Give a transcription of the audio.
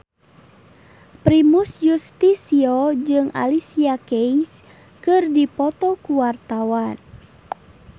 Primus Yustisio jeung Alicia Keys keur dipoto ku wartawan